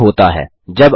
जाँचें क्या होता है